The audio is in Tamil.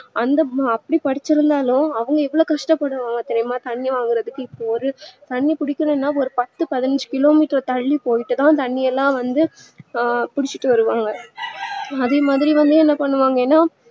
அந்த அப்டி படிச்சிருந்தாலும் கஷ்டபடுவாங்க தெரியுமா தண்ணீ வாங்கறதுக்கு இப்ப ஒரு தண்ணீ புடிக்கனுனா பத்து பதினஞ்சி kilometer தள்ளி போயிட்டுதா தண்ணீ எல்லா வந்து ஆஹ் புடிச்சிட்டு வருவாங்க அதே மாதிரி வந்து என்ன பண்ணுவாங்கனா